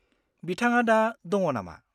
बिथाङा दा दङ नामा?